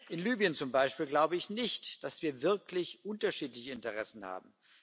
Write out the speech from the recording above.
In Libyen zum Beispiel glaube ich nicht, dass wir wirklich unterschiedliche Interessen haben.